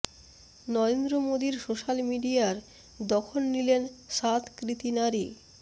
নরেন্দ্র মোদীর সোশ্যাল মিডিয়ার দখল নিলেন সাত কৃতী নারী